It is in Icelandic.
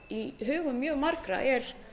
í hugum mjög margra er